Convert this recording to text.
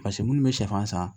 Paseke minnu bɛ sɛfan san